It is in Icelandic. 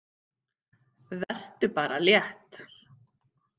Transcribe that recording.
Vertu bara létt!